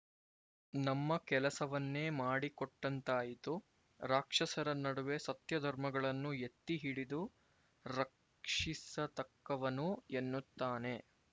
ನಮ್ಮ ಕೆಲಸವನ್ನೇ ಮಾಡಿಕೊಟ್ಟಂತಾಯಿತು ರಾಕ್ಷಸರ ನಡುವೆ ಸತ್ಯಧರ್ಮಗಳನ್ನು ಎತ್ತಿಹಿಡಿದು ರಕ್ಷಿಸತಕ್ಕವನು ಎನ್ನುತ್ತಾನೆ